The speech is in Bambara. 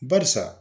Barisa